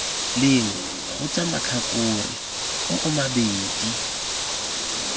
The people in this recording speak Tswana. lengwe kgotsa matlhakore oo mabedi